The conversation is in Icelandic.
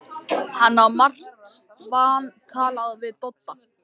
Hann á margt vantalað við Dodda.